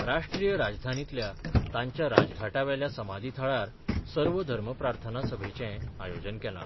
राष्ट्रीय राजधानीतल्या तांच्या राजघाटा वेल्या समाधी थळार सर्व धर्मप्रार्थना सभेचें आयोजन केलां.